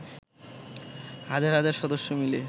হাজার হাজার সদস্য মিলে